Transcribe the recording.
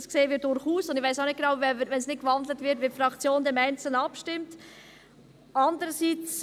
Das sehen wir durchaus, und ich weiss auch nicht genau, wie die Fraktion dann im Einzelnen abstimmt, wenn es nicht gewandelt wird.